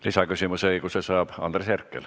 Lisaküsimuse õiguse saab Andres Herkel.